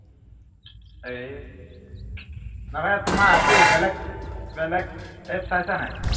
এই তোমাৰ কি বেলেগ বেলেগ app চাইচানে